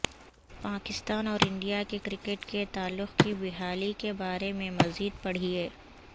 پاکستان اور انڈیا کے کرکٹ کے تعلق کی بحالی کے بارے میں مزید پڑھیے